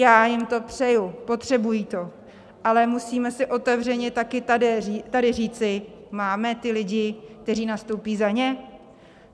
Já jim to přeji, potřebují to, ale musíme si otevřeně tady taky říci: máme ty lidi, kteří nastoupí za ně?